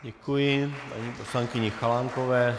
Děkuji paní poslankyni Chalánkové.